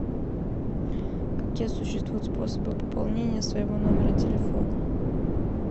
какие существуют способы пополнения своего номера телефона